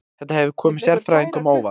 Þetta hefur komið sérfræðingum á óvart